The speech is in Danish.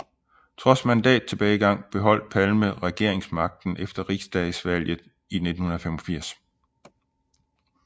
Trods mandattilbagegang beholdt Palme regeringsmagten efter Riksdagsvalget i 1985